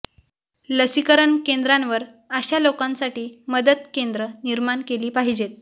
लसीकरण केंद्रांवर अशा लोकांसाठी मदत केंद्र निर्माण केली पाहिजेत